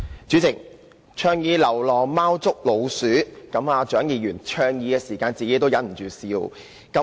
主席，蔣議員倡議流浪貓捉老鼠時，自己也忍不住笑。